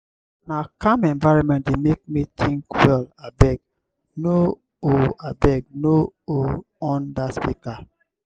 na calm environment dey make me think well abeg no on abeg no on dat speaker.